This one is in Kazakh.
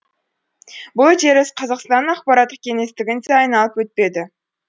үдеріс қазақстанның ақпараттық кеңістігін де айналып өтпеді